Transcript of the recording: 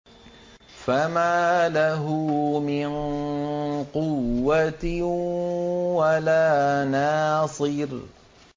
فَمَا لَهُ مِن قُوَّةٍ وَلَا نَاصِرٍ